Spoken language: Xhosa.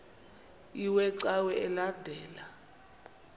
iwe cawa elandela